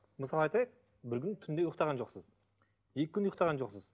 мысалы айтайық бір күн түнде ұйықтаған жоқсыз екі күн ұйықтаған жоқсыз